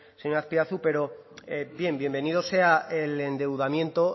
señor azpiazu pero bien bienvenido sea el endeudamiento